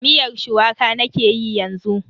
Miyar shuwaka nake yi yanzu.